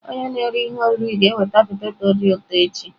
Onye na-ere ihe oriri ga-eweta poteto dị ụtọ echi.